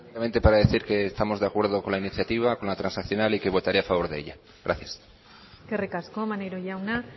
brevemente para decir que estamos de acuerdo con la iniciativa con la transaccional y que votaré a favor de ella gracias eskerrik asko maneiro jauna